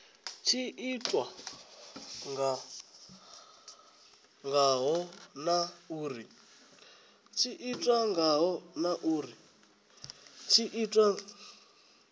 tshi itiwa ngaho na uri